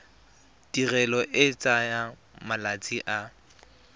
tirelo e tsaya malatsi a